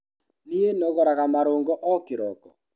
Nie nogoraga marũngo o kĩroko.